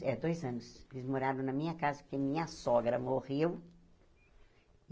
É dois anos eles moraram na minha casa, porque minha sogra morreu.